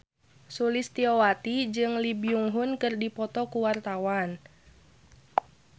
Sulistyowati jeung Lee Byung Hun keur dipoto ku wartawan